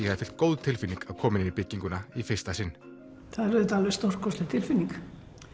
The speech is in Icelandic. hafi fylgt góð tilfinning að koma inn í bygginguna í fyrsta sinn það er auðvitað alveg stórkostleg tilfinning